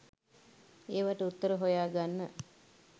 ඒවට උත්තර හොයාගන්න